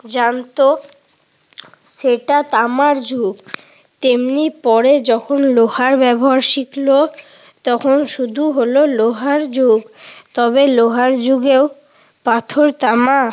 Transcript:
জানত সেটা তামার যুগ তেমনি পরে যখন লোহার ব্যবহার শিখল তখন শুরু হলো লোহার যুগ। তবে লোহার যুগেও পাথর, তামা,